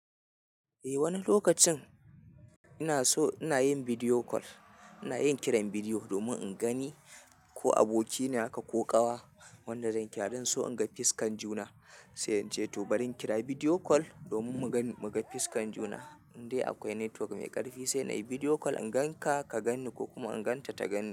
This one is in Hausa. Eh wani lokacin ina so ina yin bidiyo kol, ina yin kiran bidiyo domin in gani ko abokina haka ko kawa. Wanda zan kira don so in ga fiskan juna, sai in ce to bari in kira bidiyo kol domin mu ga fiskan juna. Indai akwai network mai ƙarfi sai na yi bidiyo kol in gan ka, ka ganni ko kuma in gan ta ta gan ni.